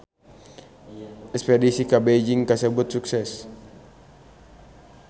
Espedisi ka Beijing kasebat sukses